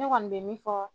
Ne kɔni bɛ min fɔ